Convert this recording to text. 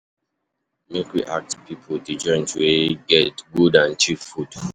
Make we ask pipo di joint wey get good and cheap food?